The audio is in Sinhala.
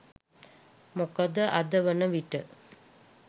මොකද අද වනවිට